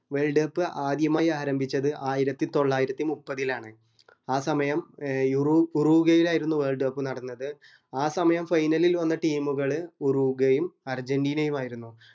wolrd cup ആദ്യമായി ആരംഭിച്ചത് ആയിരത്തി തൊള്ളായിരത്തി മുപ്പത്തിലാണ് ആ സമയം ഏർ ഉറൊ ഉറോഗ്യയിലായിരുന്നു മത്സരം നടന്നത് ആ സമായം final ൽ വന്ന team ഉകള് ഉറോഗ്യയും അർജന്റീനയും ആയിരുന്നു